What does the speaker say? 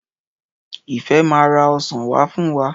Ìfẹ́ máa ra ọsàn wá fún wa.